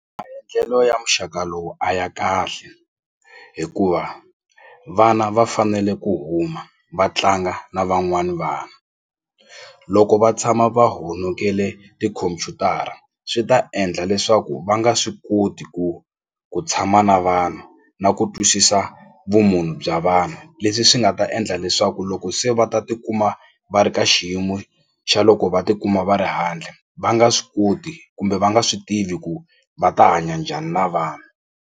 ya muxaka lowu a ya kahle hikuva vana va fanele ku huma va tlanga na van'wani vanhu loko va tshama va honokele tikhompyutara swi ta endla leswaku va nga swi koti ku ku tshama na vanhu na ku twisisa vumunhu bya vanhu leswi swi nga ta endla leswaku loko se va ta tikuma va ri ka xiyimo xa loko va tikuma va ri handle va nga swi koti kumbe va nga swi tivi ku va ta hanya njhani na vanhu.